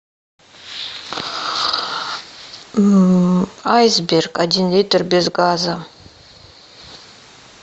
айсберг один литр без газа